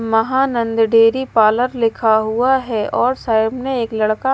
Mahanand dairy parlour लिखा हुआ है और साइड में एक लड़का --